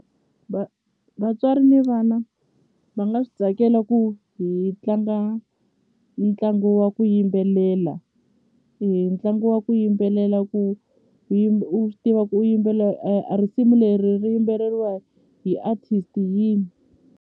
vatswari ni vana va nga swi tsakela ku hi tlanga ntlangu wa ku yimbelela ntlangu wa ku yimbelela ku u swi tiva ku yimbelela a risimu leri ri yimbeleriwa hi artist yini.